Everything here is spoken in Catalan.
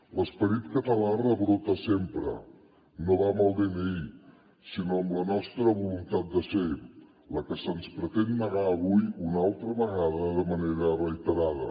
l’esperit català rebrota sempre no va amb el dni sinó amb la nostra voluntat de ser la que se’ns pretén negar avui una altra vegada de manera reiterada